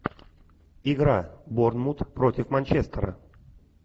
игра борнмут против манчестера